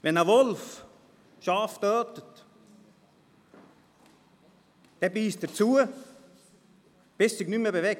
Wenn ein Wolf Schafe tötet, dann beisst er zu, bis es sich nicht mehr bewegt.